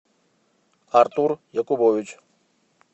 артур якубович